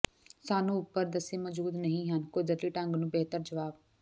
ਸਾਨੂੰ ਉੱਪਰ ਦੱਸੇ ਮੌਜੂਦ ਨਹੀ ਹਨ ਕੁਦਰਤੀ ਢੰਗ ਨੂੰ ਬਿਹਤਰ ਜਵਾਬ